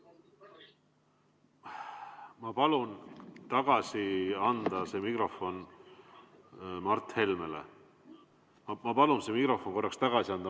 Ma palun tagasi anda mikrofon Mart Helmele!